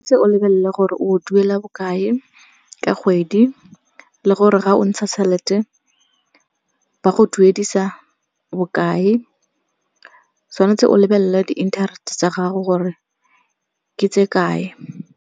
Tshwan'tse o lebelele gore o duela bokae ka kgwedi le gore ga o ntsha tšhelete ba go duedisa bokae. Tshwanetse o lebelela di-interest-e tsa gago gore ke tse kae.